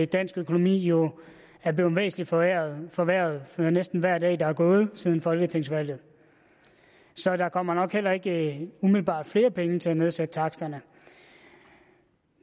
dansk økonomi jo er blevet væsentlig forværret forværret for næsten hver dag der er gået siden folketingsvalget så der kommer nok heller ikke umiddelbart flere penge til at nedsætte taksterne